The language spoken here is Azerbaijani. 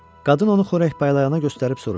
Qadın onu xörək paylayana göstərib soruşdu: